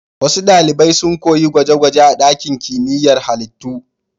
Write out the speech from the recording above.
Wasu ɗalibai sun koyi gwaje-gwaje a ɗakin kimiyyar halittu.